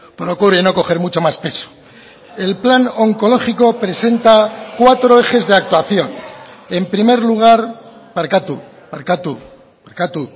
procure no coger mucho más peso el plan oncológico presenta cuatro ejes de actuación en primer lugar barkatu barkatu barkatu